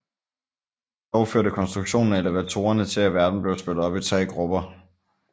Dog førte konstruktionen af elevatorerne til at verden blev splittet i tre grupper